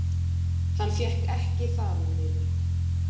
Hann fékk ekki fararleyfi